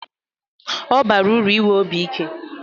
Ọ bara uru inwe obi ike